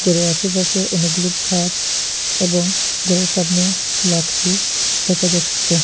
ঘরের আশেপাশে অনেকগুলো গাছ এবং ঘরের সামনে লাকড়ি দেখা যাচ্ছে।